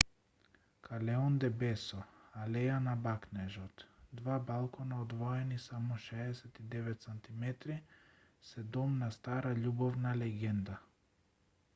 callejon del beso алеја на бакнежот. два балкона одвоени само 69 сантиметри се дом на стара љубовна легенда